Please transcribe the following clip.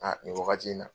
Aa nin wagati in na